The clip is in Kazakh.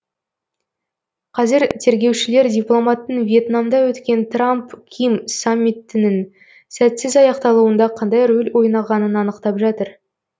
қазір тергеушілер дипломаттың вьетнамда өткен трамп ким саммитінің сәтсіз аяқталуында қандай рөл ойнағанын анықтап жатыр